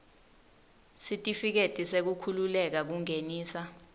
sitifiketi sekukhululeka kungenisa